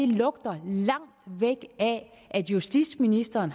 lugter langt væk af at justitsministeren